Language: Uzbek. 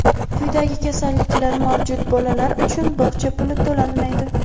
Quyidagi kasalliklar mavjud bolalar uchun bog‘cha puli to‘lanmaydi:.